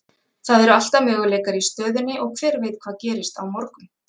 Það eru alltaf möguleikar í stöðunni og hver veit hvað gerist á morgun?